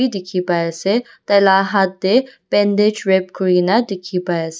bi tiki bai ase tai la hath dae bandage wrap kurina tiki bai ase.